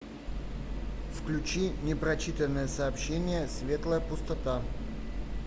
включи непрочитанные сообщения светлая пустота